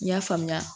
N y'a faamuya